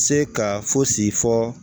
Se ka fosi fɔ